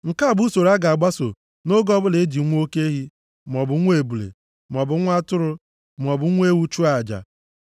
Nke a bụ usoro a ga-agbaso nʼoge ọbụla e ji nwa oke ehi, maọbụ nwa ebule, maọbụ nwa atụrụ, maọbụ nwa ewu chụọ aja.